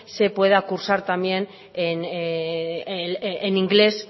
se pueda cursar también en ingles